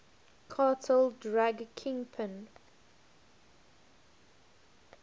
cartel drug kingpin